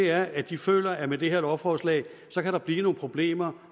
er at de føler at med det her lovforslag kan der blive nogle problemer